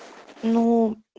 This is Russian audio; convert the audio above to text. ну